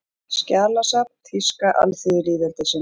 Skjalasafn Þýska alþýðulýðveldisins